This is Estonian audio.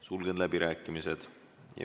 Sulgen läbirääkimised.